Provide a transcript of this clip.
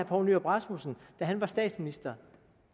poul nyrup rasmussen var statsminister